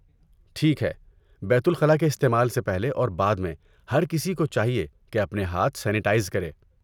ٹھیک ہے! بیت الخلا کے استعمال سے پہلے اور بعد میں، ہر کسی کو چاہیے کہ اپنے ہاتھ سینیٹائز کرے۔